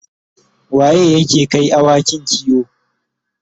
waye yake Kai awakin kiwo?